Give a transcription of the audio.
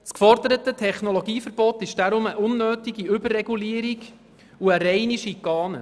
Deshalb ist das geforderte Technologieverbot eine unnötige Überregulierung und eine reine Schikane.